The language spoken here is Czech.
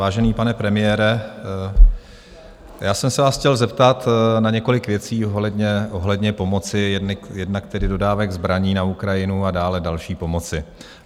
Vážený pane premiére, já jsem se vás chtěl zeptat na několik věcí ohledně pomoci, jednak tedy dodávek zbraní na Ukrajinu a dále další pomoci.